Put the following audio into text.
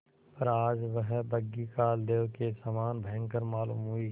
पर आज वह बग्घी कालदेव के समान भयंकर मालूम हुई